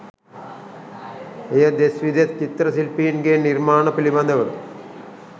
එය දෙස් විදෙස් චිත්‍ර ශිල්පීන්ගේ නිර්මාණ පිළිබදව